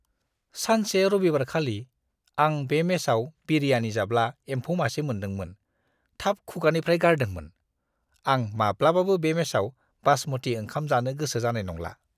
सानसे रबिबारखालि, आं बे मेसाव बिरियानी जाब्ला एम्फौ मासे मोन्दोंमोन, थाब खुगानिफ्राइ गारदोंमोन। आं माब्लाबाबो बे मेसआव बासमती ओंखाम जानो गोसो जानाय नंला।